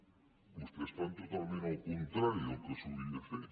home vostès fan totalment el contrari del que s’hauria de fer